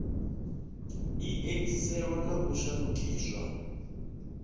i edziselwe na u shandukiswa